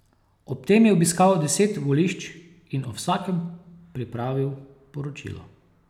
Ob tem je obiskal deset volišč in o vsakem pripravil poročilo.